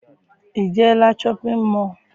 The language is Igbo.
I jeela shọpịn mọọ?